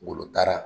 Wolota